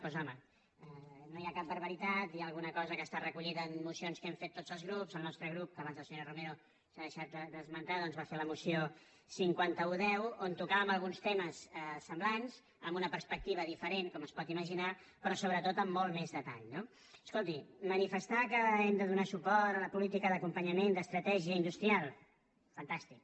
doncs home no hi ha cap barbaritat hi ha alguna cosa que està recollida en mocions que hem fet tots els grups el nostre grup que abans la senyora romero s’ha deixat d’esmentar va fer la moció cinquanta un x on tocàvem alguns temes semblants amb una perspectiva diferent com es pot imaginar però sobretot amb molt més detall no escolti manifestar que hem de donar suport a la política d’acompanyament d’estratègia industrial fantàstic